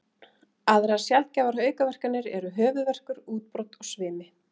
Aðrar sjaldgæfar aukaverkanir eru höfuðverkur, útbrot og svimi.